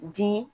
Di